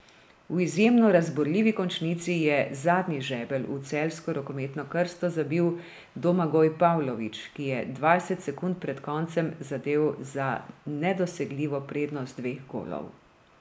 V izjemno razburljivi končnici je zadnji žebelj v celjsko rokometno krsto zabil Domagoj Pavlović, ki je dvajset sekund pred koncem zadel za nedosegljivo prednost dveh golov.